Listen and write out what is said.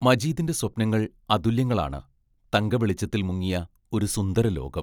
മജീദിന്റെ സ്വപ്നങ്ങൾ അതുല്യങ്ങളാണ്; തങ്ക വെളിച്ചത്തിൽ മുങ്ങിയ ഒരു സുന്ദരലോകം.